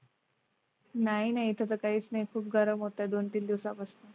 नाही नाही तसं काहीच नाही खूप गरम होतं दोन तीन दिवसापासून.